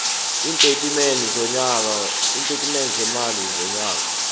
iintatimende zeemali zonyaka